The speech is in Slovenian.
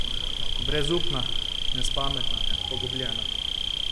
Brezupna, nespametna, pogubljena.